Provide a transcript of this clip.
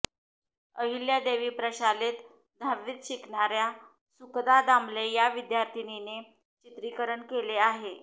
अहिल्यादेवी प्रशालेत दहावीत शिकणाऱ्या सुखदा दामले या विद्यार्थिनीने चित्रीकरण केले आहे